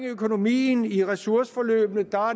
økonomien i ressourceforløbene